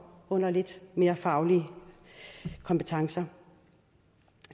under lidt mere faglige kompetencer